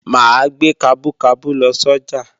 Mà á gbé kabú kabú lọ sọ́jà